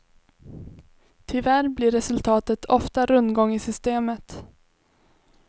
Tyvärr blir resultatet ofta rundgång i systemet.